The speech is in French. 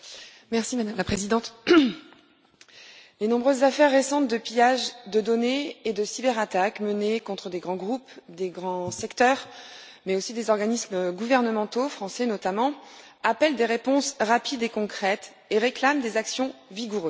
Madame la Présidente, les nombreuses affaires récentes de pillages de données et de cyberattaques menées contre des grands groupes, des grands secteurs, mais aussi des organismes gouvernementaux, français notamment, appellent des réponses rapides et concrètes et réclament des actions vigoureuses.